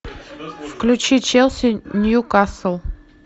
включи челси ньюкасл